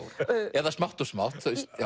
eða smátt og smátt